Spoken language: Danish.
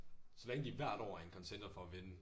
Så længe de hvert år er en contender for at vinde